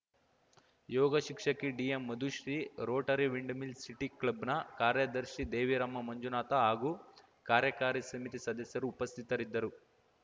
ಯೋಗ ಶಿಕ್ಷಕಿ DM Madhushree rotary windmill city ಕ್ಲಬ್‌ನ ಕಾರ್ಯದರ್ಶಿ ದೇವಿರಮ್ಮ ಮಂಜುನಾಥ ಹಾಗೂ ಕಾರ್ಯಕಾರಿ ಸಮಿತಿ ಸದಸ್ಯರು ಉಪಸ್ಥಿತರಿದ್ದರು